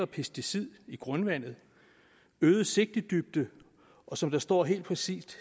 pesticider i grundvandet øget sigtedybde og som der står helt præcist